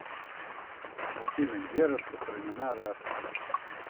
афина где распространена раса